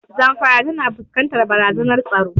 Zamfara tana fuskantar barazanar tsaro.